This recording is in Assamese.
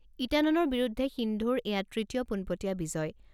ইণ্টানন'ৰ বিৰুদ্ধে সিন্ধুৰ এয়া তৃতীয় পোনপটীয়া বিজয়।